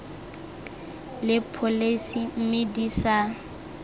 le pholesi mme di sa